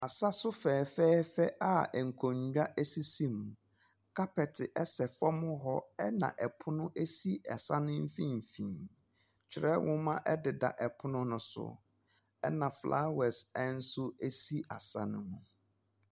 Asaso fɛɛfɛɛfɛ a nkonwa esisi mu, kapɛte ɛsɛ fɔm hɔ ɛna ɛpono esi asa ne mfinfin. Twerɛ nwoma ɛdeda ɛpono no so, ɛna flawɛs ɛnso esi asa no mu.